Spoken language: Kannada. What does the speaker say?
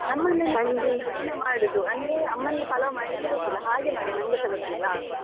ನಮ್ಮ ಮನೆಯಲ್ಲಿ ನಾವು ಕಡಿಮೆ ಮಾಡುದು, ಅಂದ್ರೆ ಅಮ್ಮನಿಗೆ ಪಲಾವ್ ಮಾಡ್ಲಿಕ್ಕೆ ಗೊತ್ತಿಲ್ಲ ಹಾಗೆ ನೋಡಿ ನಂಗೆಸ ಗೊತ್ತಿಲ್ಲ.